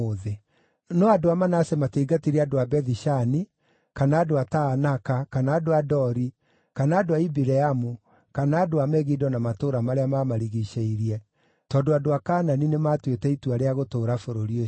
No andũ a Manase matiaingatire andũ a Bethi-Shani, kana andũ a Taanaka, kana andũ a Dori kana andũ a Ibileamu, kana andũ a Megido na matũũra marĩa maamarigiicĩirie, tondũ andũ a Kaanani nĩmatuĩte itua rĩa gũtũũra bũrũri ũcio.